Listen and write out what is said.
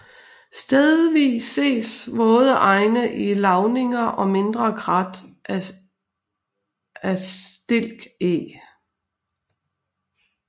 Stedvis ses våde enge i lavninger og mindre krat af stilkeg